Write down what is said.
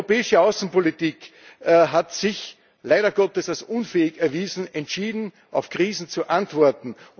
Die europäische Außenpolitik hat sich, leider Gottes, als unfähig erwiesen, entschieden auf Krisen zu antworten.